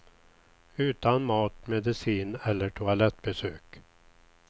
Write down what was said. Utan mat, medicin eller toalettbesök.